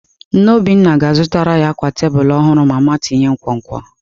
Nne Obinna ga-azụtara ya akwa tebụl ọhụrụ mama tinye nkwonkwo.